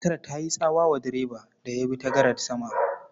Matar ta yi tsawa wa direban da ya bi ta gadar sama.